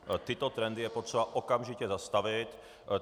Tyto trendy je potřeba okamžitě zastavit.